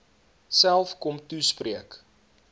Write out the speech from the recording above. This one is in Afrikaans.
self kom toespreek